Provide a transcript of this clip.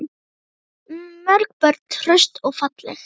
Þú átt mörg börn, hraust og falleg.